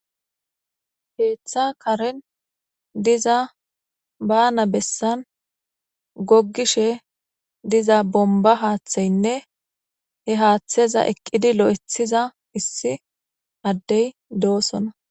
Heeththa karin diza baana bessan gogishe diza bomba haaththeynne he haaththeza eqqidi lo'ethiza issi addey doosona.